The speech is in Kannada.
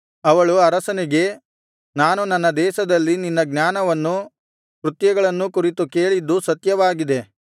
ಅವಳು ಅರಸನಿಗೆ ನಾನು ನನ್ನ ದೇಶದಲ್ಲಿ ನಿನ್ನ ಜ್ಞಾನವನ್ನು ಕೃತ್ಯಗಳನ್ನೂ ಕುರಿತು ಕೇಳಿದ್ದು ಸತ್ಯವಾಗಿದೆ